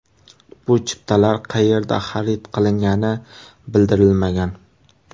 Bu chiptalar qayerda xarid qilingani bildirilmagan.